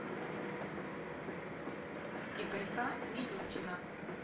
игорька милютина